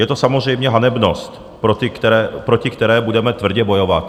Je to samozřejmě hanebnost, proti které budeme tvrdě bojovat.